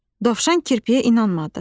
Dovşan kirpiyə inanmadı.